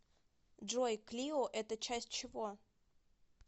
джой клио это часть чего